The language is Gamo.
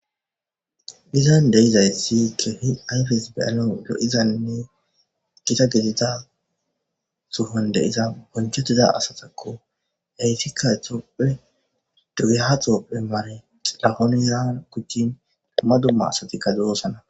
Dizan deizaythi kehi ayfes be7alon do7izanne gita gedida suhon deiza bonchettida asatakko yaytikka exoopphe dogeha xoophe mane xilahonizan kuchchin amma dumma asatikka doosana.